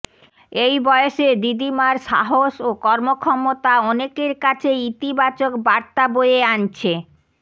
এই বয়সে দিদিমার সাহস ও কর্মক্ষমতা অনেকের কাছে ইতিবাচক বার্তা বয়ে আনছে